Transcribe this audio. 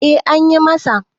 eh an yi masa